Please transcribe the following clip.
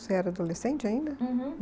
Você era adolescente ainda? Uhum.